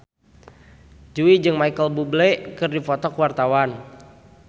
Jui jeung Micheal Bubble keur dipoto ku wartawan